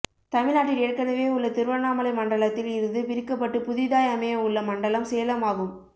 தமிழ்நாட்டின் ஏற்கனவே உள்ள திருவண்ணாமலை மண்டலத்தில் இருந்து பிரிக்கப்பட்டு புதிதாய் அமையவுள்ள மண்டலம் சேலம் ஆகும்